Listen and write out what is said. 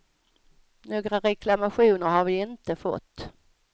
Några reklamationer har vi inte fått.